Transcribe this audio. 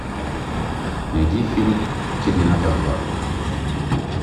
найди фильм терминатор два